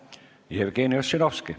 Jevgeni Ossinovski.